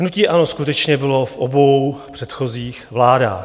Hnutí ANO skutečně bylo v obou předchozích vládách.